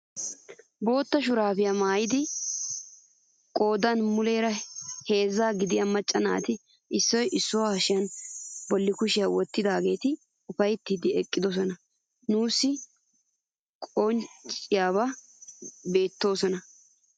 Bootta shuraabiyaa maayida qoodan muleera heezzaa gidiyaa macca naati issoy issuwaa hashiyaa bolli kushiyaa wottidaageti ufayttiidi eqqidaageti nuusi qoncciyaan beettoosona.